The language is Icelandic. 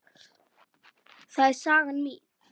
Það er saga mín.